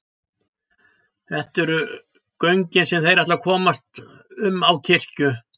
Þetta eru göngin sem þeir ætla að komast um á kirkju.